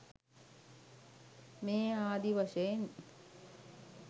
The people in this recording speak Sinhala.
මේ ආදී වශයෙන්